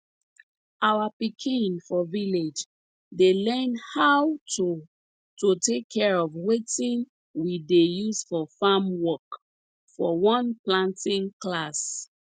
our pikin for village dey learn how to to take care of wetin we dey use for farm work for one planting class